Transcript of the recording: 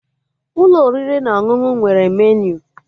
Ụlọ oriri na ọṅụṅụ nwere meniu